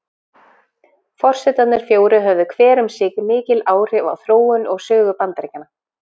Forsetarnir fjórir höfðu hver um sig mikil áhrif á þróun og sögu Bandaríkjanna.